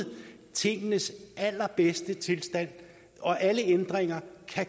tingenes allerbedste tilstand og alle ændringer